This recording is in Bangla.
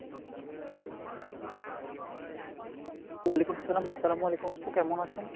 ওয়ালিকুম আসসালাম আসসালাম ওয়ালিকুম । আপ্পু কেমন আছেন ?